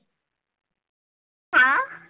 हां?